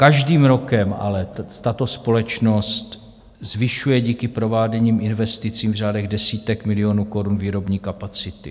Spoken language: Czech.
Každým rokem ale tato společnost zvyšuje díky prováděným investicím v řádech desítek milionů korun výrobní kapacity.